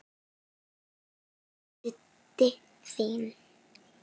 Þetta er Diddi þinn.